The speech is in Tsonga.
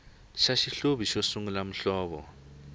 xa xihluvi xo sungula muhlovo